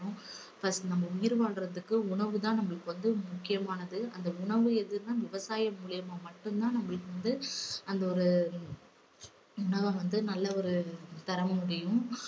first நம்ம உயிர் வாழ்வதற்கு உணவு தான் நம்மளுக்கு வந்து முக்கியமானது. அந்த உணவு எதுனா விவசாயம் மூலியமா மட்டும் தான் நம்மளுக்கு வந்து அந்த ஒரு உணவ வந்து நல்ல ஒரு தர முடியும்